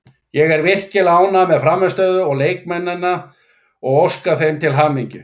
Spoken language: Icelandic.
Ég er virkilega ánægður með frammistöðuna og leikmennina og óska þeim til hamingju.